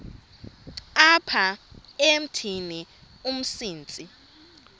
apha emithini umsintsi